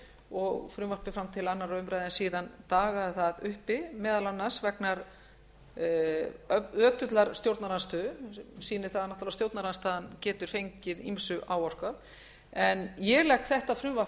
og frumvarpið kom til annarrar umræðu en síðan dagaði það uppi meðal annars vegna ötullar stjórnarandstöðu sem sýnir það náttúrlega að stjórnarandstaðan getur fengið ýmsu áorkað ég legg þetta frumvarp